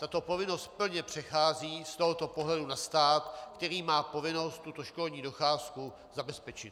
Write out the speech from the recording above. Tato povinnost plně přechází z tohoto pohledu na stát, který má povinnost tuto školní docházku zabezpečit.